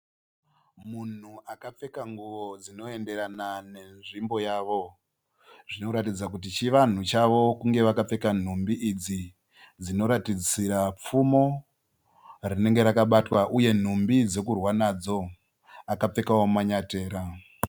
Munhu akapfeka nhumbi dzinoenderana nenzvimbo zvinoratidza kuti chivanhu chavo kunge vakapfeka nhumbi dzinoratidzira pfumo rinenge rakabatwa uye nhumbi dzekurwa nadzo akapfekawo manyatera.